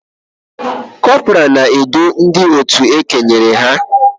Kọpọraa na-edu ndị otu e kenyere ha